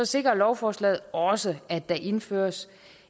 sikrer lovforslaget også at der indføres